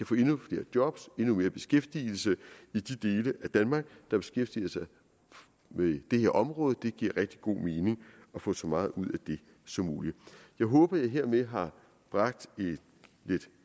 få endnu flere job og endnu mere beskæftigelse i de dele af danmark der beskæftiger sig med det her område det giver rigtig god mening at få så meget ud af det som muligt jeg håber at jeg hermed har bragt lidt